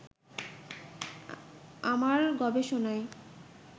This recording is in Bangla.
আমার গবেষণাই